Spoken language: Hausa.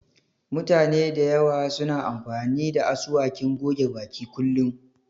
Mutane da yawa suna amfani da asuwakin goge baki kullum